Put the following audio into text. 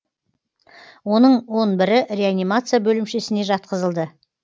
оның он бірі реанимация бөлімшесіне жатқызылды